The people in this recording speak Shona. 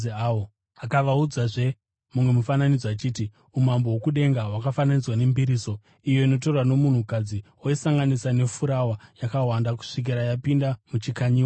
Akavaudzazve mumwe mufananidzo achiti, “Umambo hwokudenga hwakafanana nembiriso, iyo inotorwa nomunhukadzi oisanganisa nefurawa yakawanda, kusvikira yapinda muchikanyiwa chose.”